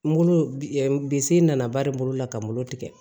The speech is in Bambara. N bolo bise nana bari bolo la ka n bolo tigɛ